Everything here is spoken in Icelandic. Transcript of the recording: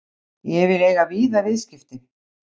Ég vil eiga víða viðskipti.